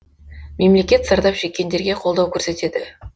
мемлекет зардап шеккендерге қолдау көрсетеді